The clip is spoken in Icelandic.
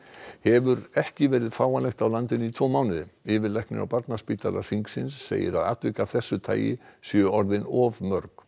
hefur ekki verið fáanlegt á landinu í tvo mánuði yfirlæknir á Barnaspítala Hringsins segir að atvik af þessu tagi séu orðin of mörg